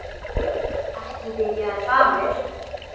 Ekki byrjaði það vel!